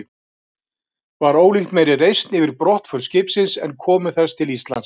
Var ólíkt meiri reisn yfir brottför skipsins en komu þess til Íslands.